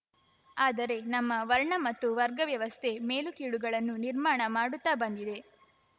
ಆದರೆ ನಮ್ಮ ವರ್ಣ ಮತ್ತು ವರ್ಗ ವ್ಯವಸ್ಥೆ ಮೇಲು ಕೀಳುಗಳನ್ನು ನಿರ್ಮಾಣ ಮಾಡುತ್ತ ಬಂದಿದೆ